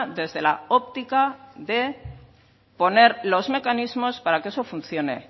desde la óptica de poner los mecanismos para que eso funcione